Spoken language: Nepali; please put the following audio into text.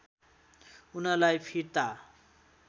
उनलाई फिर्ता